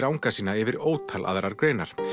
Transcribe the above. anga sína yfir ótal aðrar greinar